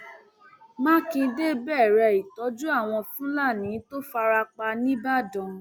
mákindé bẹrẹ ìtọjú àwọn fúlàní tó fara pa nìbàdàn